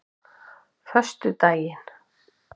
föstudaginn